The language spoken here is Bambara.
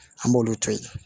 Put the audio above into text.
An b'olu to yen